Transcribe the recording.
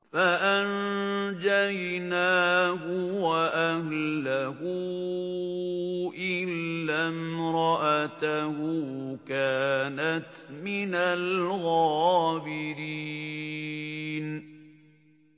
فَأَنجَيْنَاهُ وَأَهْلَهُ إِلَّا امْرَأَتَهُ كَانَتْ مِنَ الْغَابِرِينَ